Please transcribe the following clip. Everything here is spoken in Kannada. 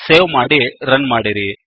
ಸೇವ್ ಮಾಡಿ ರನ್ ಮಾಡಿರಿ